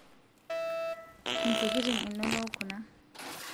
intokitin inonok kuna